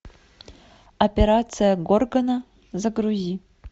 операция горгона загрузи